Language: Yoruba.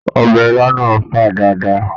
Ọbẹ̀ ilá náà ń fà dáadáa.